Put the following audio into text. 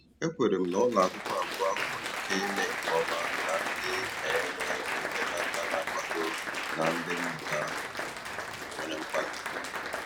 E kwenyere m na ụlọakwụkwọ abụọ ahụ nwere ike ime nke ọma ma ndị ma e nwee ndị nne na nna na-akwado na ndị mmụta nwere mkpali.